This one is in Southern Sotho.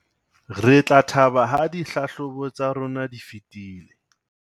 re tla thaba ha dihlahlobo tsa rona di fetile